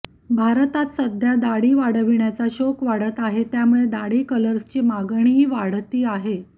भारतात सध्या दाढी वाढविण्याचा शौक वाढता आहे त्यामुळे दाढी कलर्सची मागणीही वाढती आहे